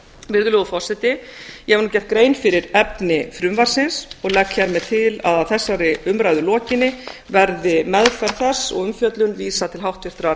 virðulegur forseti ég hef nú gert grein fyrir efni frumvarpsins og legg hér með til að að þessari umræðu lokinni verði meðferð þess og umfjöllun vísað til háttvirtrar